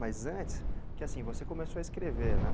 Mas antes, porque assim, você começou a escrever, né?